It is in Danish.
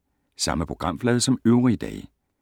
Samme programflade som øvrige dage